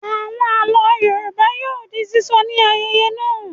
Àwọn àlọ́ Yorùbá yóò di sísọ ní ayẹyẹ náà.